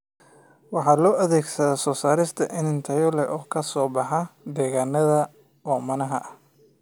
Waxa loo adeegsadaa soo saarista iniin tayo leh oo ka soo baxa degaannada oomanaha ah.